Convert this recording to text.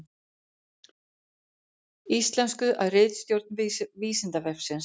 Íslenskuð af ritstjórn Vísindavefsins.